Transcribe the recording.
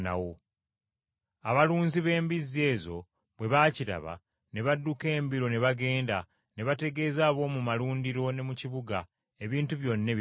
Abalunzi b’embizzi ezo bwe baakiraba, ne badduka embiro ne bagenda, ne bategeeza ab’omu malundiro ne mu kibuga, ebintu byonna ebibaddewo.